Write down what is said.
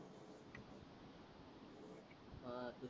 अं तूच